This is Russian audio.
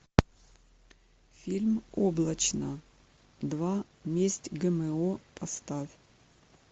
фильм облачно два месть гмо поставь